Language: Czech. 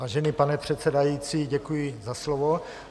Vážený pane předsedající, děkuji za slovo.